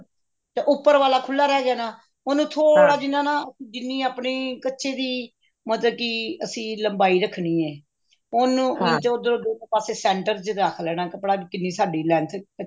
ਤੇ ਉੱਪਰ ਵਾਲਾ ਖੁੱਲਾ ਰਿਹ ਗਿਆ ਨਾ ਉਹਨੂੰ ਥੋੜਾ ਜਿੰਨਾ ਨਾ ਜਿੰਨੀ ਆਪਣੀ ਕੱਛੇ ਦੀ ਮਤਲਬ ਕੇ ਅਸੀਂ ਲੰਬਾਈ ਰੱਖਣੀ ਹੈ ਉਹਨੂੰ ਇੰਚ ਉੱਧਰੋਂ ਦੋਨੋ ਪਾਸੇ center ਚ ਰੱਖ ਲੈਣਾ ਕੱਪੜਾ ਕਿੰਨੀ ਸਾਡੀ length